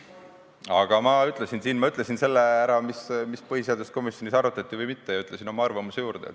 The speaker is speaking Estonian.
Aga ma ütlesin ära selle, mida põhiseaduskomisjonis arutati või mitte, ja ütlesin oma arvamuse juurde.